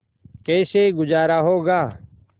कैसे गुजारा होगा